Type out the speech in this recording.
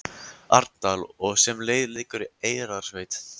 Arnardal og sem leið liggur í Eyrarsveit.